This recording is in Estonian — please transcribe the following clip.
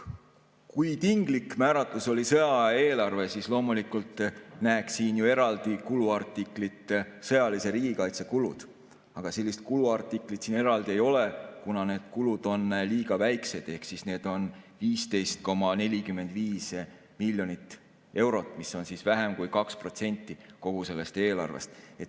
Kui tinglik määratlus oli sõjaaja eelarve, siis loomulikult tahaks ju näha siin eraldi kuluartiklit "Sõjalise riigikaitse kulud", aga sellist kuluartiklit siin eraldi ei ole, kuna need kulud on liiga väiksed, ehk need on 15,45 miljonit eurot, mis on vähem kui 2% kogu sellest eelarvest.